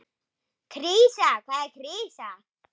Krísa, hvað er krísa?